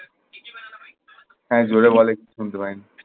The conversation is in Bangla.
হ্যাঁ জোরে বল একটু শুনতে পাইনি।